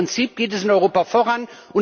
Aber im Prinzip geht es in Europa voran.